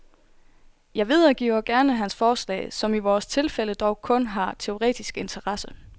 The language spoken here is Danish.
Jeg videregiver gerne hans forslag, som i vores tilfælde dog kun har teoretisk interesse.